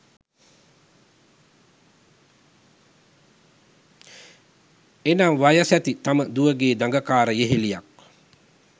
එනම් වයසැති තම දුවගේ දගකාර යෙහෙලියක්